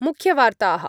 मुख्यवार्ताः